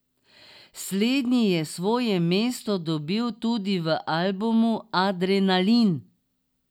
Slednji je svoje mesto dobil tudi v albumu Adrenalin.